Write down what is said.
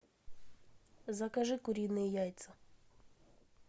закажи куриные яйца